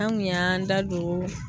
An kun y'an da don